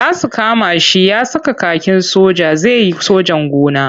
Za su kama shi ya saka kakin soja zai yi sojan gona.